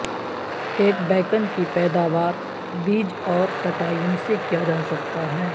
ایک بیکن کی پیداوار بیج اور کٹائیوں سے کیا جا سکتا ہے